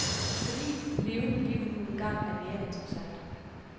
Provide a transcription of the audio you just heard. Fordi levende liv nu engang er mere interessant